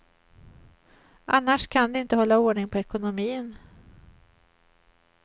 Annars kan de inte hålla ordning på ekonomin.